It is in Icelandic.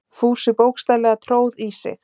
Fúsi bókstaflega tróð í sig.